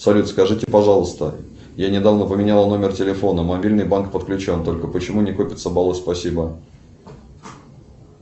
салют скажите пожалуйста я недавно поменяла номер телефона мобильный банк подключен только почему не копятся баллы спасибо